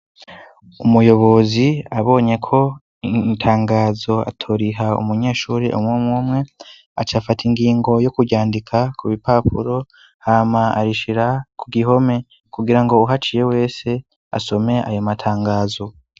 Umuyobozi abonye ko intangazo atoriha umunyeshuri umwe umwe acafata ingingo yo kuryandika ku bipapuro hama arishira ku gihome kugira ngo uhaciye wese asome ayo matangazo.